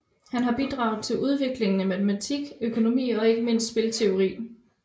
Han har bidraget til udviklingen af matematisk økonomi og ikke mindst spilteori